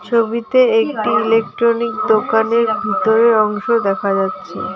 ছবিতে একটি ইলেকট্রনিক দোকানের ভিতরের অংশ দেখা যাচ্ছে।